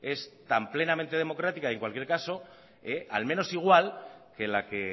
es tan plenamente democrática y en cualquier caso al menos igual que la que